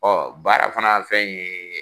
Ɔɔ baara fana fɛn ye